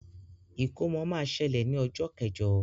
Ìkómọ ma ṣẹlẹ ní ọjọ kẹjọ.